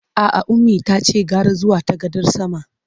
A'a, Ummi tace gara zuwa ta gadar sama.